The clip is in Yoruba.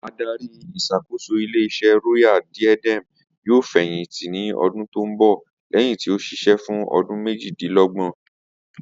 Adarí ìs̩àkóso ilé is̩é̩ Royal Diadem yóò fè̩yìntì ní o̩dún tó ń bò̩ lé̩yìn tí ó s̩is̩é̩ fún o̩dún méjìdínló̩gbò̩n